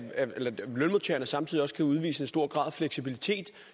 lønmodtagerne samtidig kan udvise en stor grad af fleksibilitet